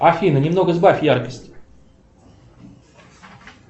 афина немного сбавь яркость